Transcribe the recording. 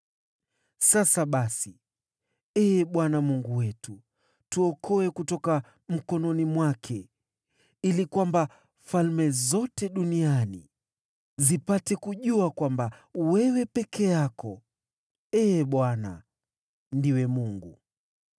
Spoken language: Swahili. Sasa basi, Ee Bwana Mungu wetu, tuokoe kutoka mkononi mwake, ili falme zote duniani zipate kujua kwamba wewe peke yako, Ee Bwana , ndiwe Mungu.”